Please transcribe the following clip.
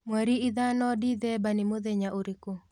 mwerĩ ithano dithemba ni mũthenya ũrĩkũ